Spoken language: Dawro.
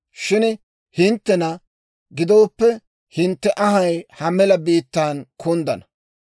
Shin hinttena gidooppe, hintte anhay ha mela biittaan kunddana.